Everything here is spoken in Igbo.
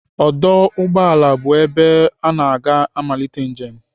Ọdụ ụgbọala bụ ebe ana aga amalite njem.